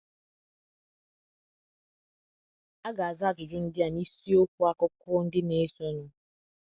A ga - aza ajụjụ ndị a n’isiokwu akuko ndị na -- esonụ.